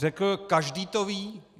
Řekl - každý to ví.